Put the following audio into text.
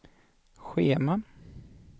schema